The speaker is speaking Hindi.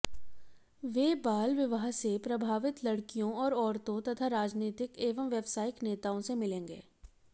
वे बाल विवाह से प्रभावित लड़कियों और औरतों तथा राजनीतिक एवं व्यावसायिक नेताओं से मिलेंगे